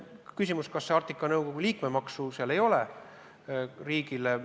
On ehk küsimus, kas Arktika Nõukogus kehtiks riigile liikmemaks.